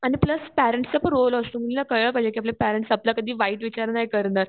आणि plus parents चा पण रोल असतो कळायला पाहिजे का आपले पेरेंट्स आपल्यासाठी वाईट विचार नाही करणार.